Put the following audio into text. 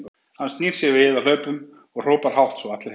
Hann snýr sér við á hlaupunum og hrópar hátt svo að allir heyri